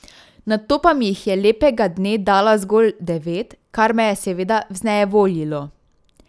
Nato pa mi jih je lepega dne dala zgolj devet, kar me je seveda vznejevoljilo.